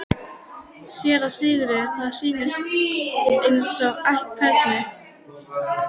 SÉRA SIGURÐUR: Það sýnir aðeins hvernig